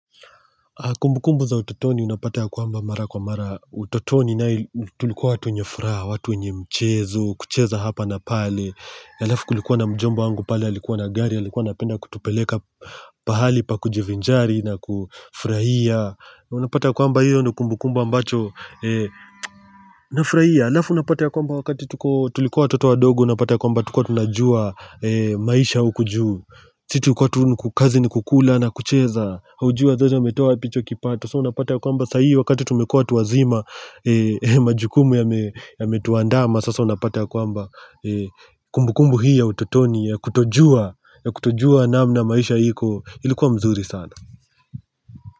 Kumbukumbu za utotoni napata ya kwamba mara kwa mara utotoni tulikuwa watu wenye furaha, watu wenye mchezo, kucheza hapa na pale. Alafu kulikuwa na mjomba wangu pale, alikuwa na gari, alikuwa anapenda kutupeleka pahali pa kujivinjari na kufurahia. Unapata kwamba hiyo ni kumbukumbu ambacho nafurahia. Alafu napata ya kwamba wakati tulikuwa watoto wadogo, napata ya kwamba tukuwa tunajua maisha huku juu. Sisi tulikuwa tu kazi ni kukula na kucheza haujua wazao wametoa wapi hicho kipato, sasa unapata ya kwamba saa hii wakati tumekua watu wazima majukumu yametuandama, sasa unapata ya kwamba kumbukumbu hii ya utotoni ya kutojua namna maisha hiko ilikuwa mzuri sana.